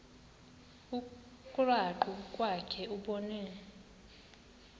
krwaqu kwakhe ubone